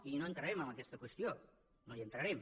i no entrarem en aquesta qüestió no hi entrarem